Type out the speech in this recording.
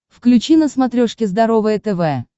включи на смотрешке здоровое тв